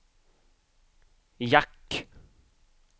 jack